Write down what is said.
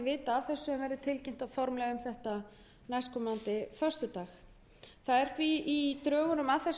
vita af þessu en verður tilkynnt formlega um þetta næstkomandi föstudag í drögum að þessum